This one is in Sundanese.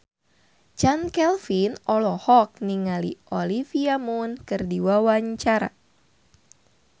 Chand Kelvin olohok ningali Olivia Munn keur diwawancara